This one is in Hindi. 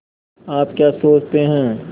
आप क्या सोचते हैं